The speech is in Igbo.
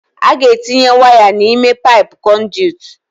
A ga-etinye waya n'ime paipụ conduit.